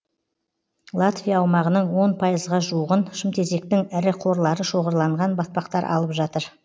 латвия аумағының он пайзға жуығын шымтезектің ірі қорлары шоғырланған батпақтар алып жатыр